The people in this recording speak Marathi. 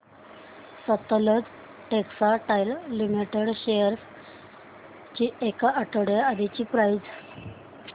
सतलज टेक्सटाइल्स लिमिटेड शेअर्स ची एक आठवड्या आधीची प्राइस